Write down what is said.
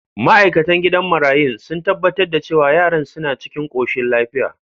Ma’aikatan gidan marayun sun tabbatar da cewa yaran suna cikin koshin lafiya.